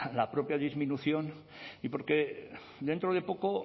la propia disminución y porque dentro de poco